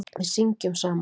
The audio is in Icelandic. Við syngjum saman.